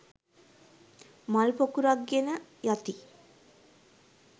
මල් පොකුරක් ගෙන යති.